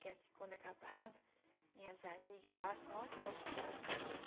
que é quando acabava, minhas amigas falavam assim, nossa Sebastiana